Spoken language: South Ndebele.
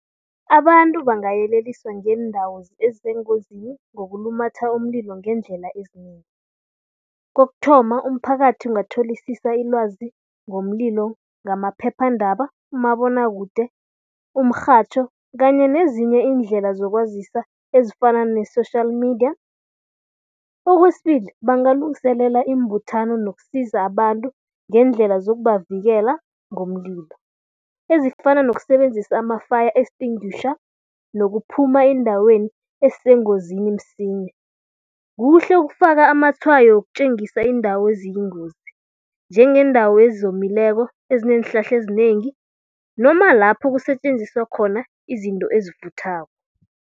Abantu bangayeleliswa ngeendawo ezisengozini ngokulumatha umlilo ngeendlela ezinengi. Kokuthoma, umphakathi ungatholisisa ilwazi ngomlilo ngamaphephandaba, umabonwakude, umrhatjho kanye nezinye iindlela zokwazisa ezifana ne-social media. Okwesibili, bangalungiselela iimbuthano nokusiza abantu ngeendlela zokubavikela ngomlilo. Ezifana nokusebenzisa ama-fire extinguisher nokuphuma eendaweni ezisengozini msinya. Kuhle ukufaka amatshwayo wokutjengisa iindawo eziyingozi njengeendawo ezomileko, ezineenhlahla ezinengi noma lapho kusetjenziswa khona izinto ezivuthako.